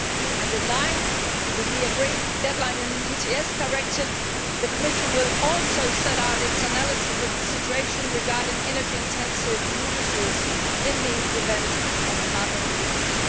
In line with the deadline agreed in the ETS Directive, the Commission will also set out its analysis of the situation regarding energy intensive industries in the event of carbon leakage.